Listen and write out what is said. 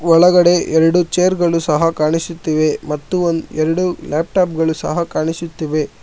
ಒಳಗಡೆ ಎರಡು ಚೇರ್ ಗಳು ಸಹ ಕಾಣಿಸುತ್ತಿವೆ ಮತ್ತು ಒಂ ಎರಡು ಲ್ಯಾಪ್ಟಾಪ್ ಗಳು ಸಹ ಕಾಣಿಸುತ್ತೇವೆ.